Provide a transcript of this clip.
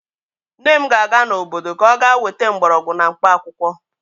Nne m ga-aga n'obodo ka ọ ga-weta mgbọrọgwụ na mkpaakwụkwọ.